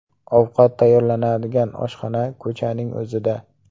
Ovqat tayyorlanadigan oshxona ko‘chaning o‘zida.